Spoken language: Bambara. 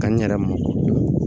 Ka n yɛrɛ ma